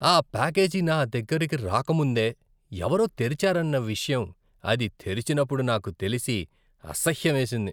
ఆ ప్యాకేజీ నా దగ్గరికి రాకముందే ఎవరో తెరిచారన్న విషయం అది తెరిచినప్పుడు నాకు తెలిసి, అసహ్యం వేసింది.